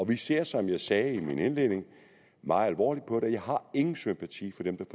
vi ser som jeg sagde i min indledning meget alvorligt på det og jeg har ingen sympati for dem